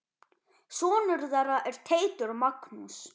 Sonur þeirra er Teitur Magnús.